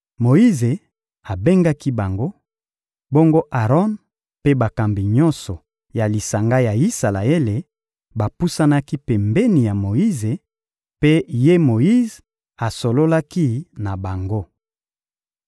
Moyize abengaki bango; bongo Aron mpe bakambi nyonso ya lisanga ya Isalaele bapusanaki pembeni ya Moyize, mpe ye Moyize asololaki na bango.